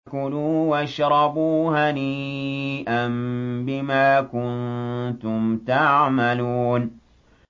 كُلُوا وَاشْرَبُوا هَنِيئًا بِمَا كُنتُمْ تَعْمَلُونَ